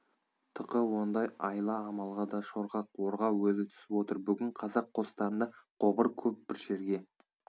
тықы ондай айла-амалға да шорқақ орға өзі түсіп отыр бүгін қазақ қостарында қобыр көп бір жерге